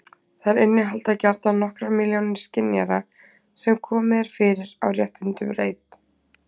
þær innihalda gjarnan nokkrar milljónir skynjara sem komið er fyrir á rétthyrndum reit